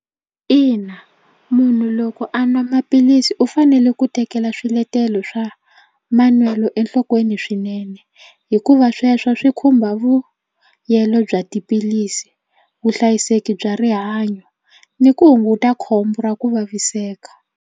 Ina munhu loko a nwa maphilisi u fanele ku tekela swiletelo swa manwelo enhlokweni swinene hikuva sweswo swi khumba vuyelo bya tiphilisi vuhlayiseki bya rihanyo ni ku hunguta khombo ra ku vaviseka.